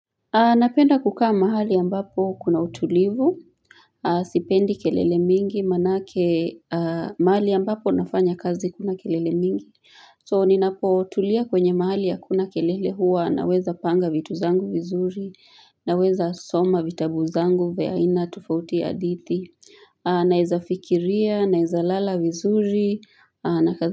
Napenda kukaa mahali ambapo kuna utulivu, sipendi kelele mingi, manake mahali ambapo nafanya kazi kuna kelele mingi, so ninapotulia kwenye mahali hakuna kelele huwa naweza panga vitu zangu vizuri, naweza soma vitabu zangu vya aina tofauti hadithi, naweza fikiria, naweza lala vizuri, na kazi.